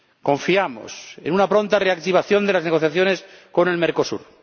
Confiamos en una pronta reactivación de las negociaciones con el Mercosur.